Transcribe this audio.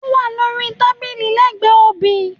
Ówà lórí tábìlì lẹgbẹ obì.